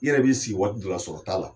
I yɛrɛ b'i sigi waati dɔw la sɔrɔ t'a la